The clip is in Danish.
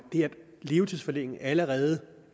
levetidsforlænge allerede